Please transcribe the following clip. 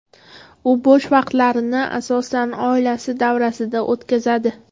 U bo‘sh vaqtlarini asosan oilasi davrasida o‘tkazadi.